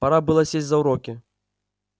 пора было сесть за уроки